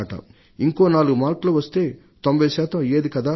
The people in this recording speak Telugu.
ఇంకో నాలుగు మార్కులు వస్తే 90 శాతం అయ్యేది కదా అనే